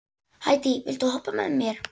Hædý, viltu hoppa með mér?